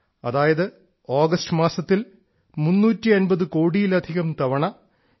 അതായത് ആഗസ്റ്റ് മാസത്തിൽ 350 കോടിയിലധികം തവണ യു